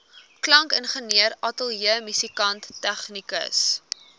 klankingenieur ateljeemusikant tegnikus